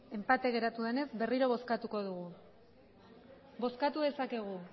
enpate geratu denez berriro bozkatuko dugu bozkatu dezakegu